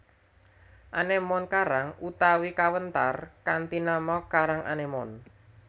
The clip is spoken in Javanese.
Anémon karang utawi kawéntar kanthi nama karang anémon